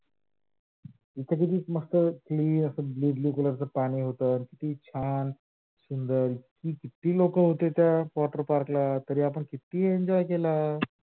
तिथे किती मस्त clear अस blue blue color च पाणी होत छान सुंदर कीती लोक होते? त्या water park ला तरी आपण किती enjoy केल